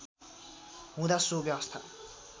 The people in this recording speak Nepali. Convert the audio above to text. हुँदा सो व्यवस्था